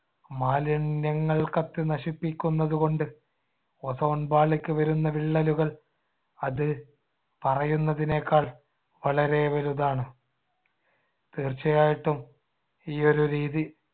മാലിന്യങ്ങൾ കത്തി നശിപ്പിക്കുന്നത് കൊണ്ട് ozone പാളിക്ക് വരുന്ന വിള്ളലുകൾ അത് പറയുന്നതിനേക്കാൾ വളരെ വലുതാണ്. തീർച്ചയായിട്ടും ഈയൊരു രീതി